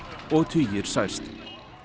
og tugir særst